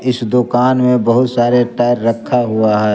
इस दुकान में बहुत सारे टायर रखा हुआ है।